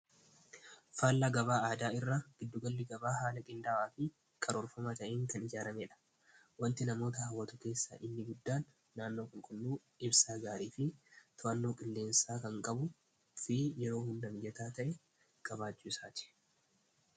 Faallaa gabaa aadaa irra gidduugalli gabaa haala qindaawaa fi karoorfamaa ta'een kan ijaaramee dha. Wanti namoota haawwatu keessaa inni guddaan naannoo qulqulluu ibsaa gaarii fi tu'annoo qilleensaa kan qabu fi yeroo hundamiyataa ta'e gabaachuu isaati.